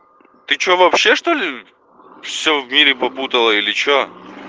ты что вообще что-ли все в мире попутала или что